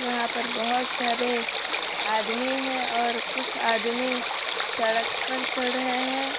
यहां पर बहुत सारे आदमी है और कुछ आदमी सड़क पर चल रहे हैं।